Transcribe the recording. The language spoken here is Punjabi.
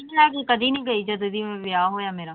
ਮੈਂ ਤਾਂ ਕਦੇ ਨੀ ਗਈ ਜਦੋਂ ਦੀ ਵਿਆਹ ਹੋਇਆ ਮੇਰਾ।